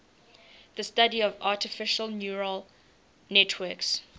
the study of artificial neural networks